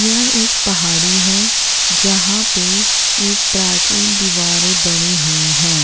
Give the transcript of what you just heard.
यह एक पहाड़ी है जहाँ पे एक प्राचीन दीवारें बनी हुई हैं।